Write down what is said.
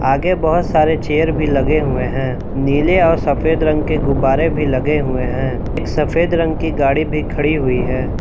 आगे बहुत सारे चेयर भी लगे हुए हैं नीले और सफेद रंग के गुब्बारे भी लगे हुए हैं एक सफेद रंग की गाड़ी भी खड़ी हुई है।